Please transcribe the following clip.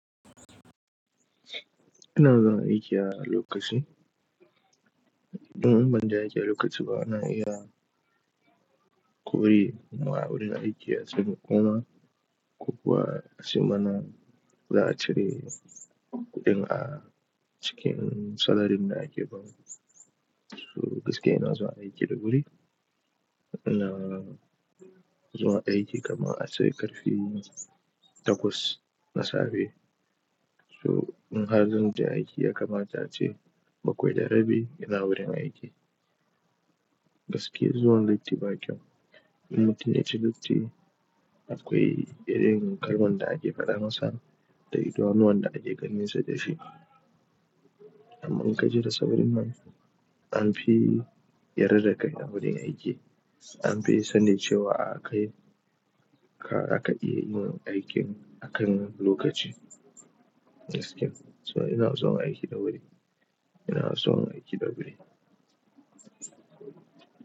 Ina zuwa aiki a lokaci. In ban je aiki a lokaci ba, ana iya kori ni ma wurin aiki a cikin goma. Ko kuwa a ce mana za a cire kuɗin a cikin salarin da ake bamu. So gaskiya ina zuwa aiki da wuri. Ina zuwa aiki kamar ace ƙarfe takwas na safe. So in har zan je aiki ya kamata ace bakwai da rabi ina wurin aiki. Gaskiya zuwan latti ba kyau. In mutum ya ci latti, akwai irin kalmar da ake faɗa masa da idanuwan da ake ganinsa da shi. Amma in ka je da saurin nan, an fi yarda da kai a wurin aiki. An fi sani cewa a kai, ka, zaka iya yi min aikin akan lokaci. Gaskiya. So ina zuwa aiki da wuri. Ina zuwa aiki da wuri.